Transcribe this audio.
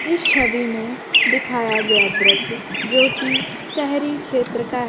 इस छवि में दिखाया गया दृश्य जो कि शहरी क्षेत्र का--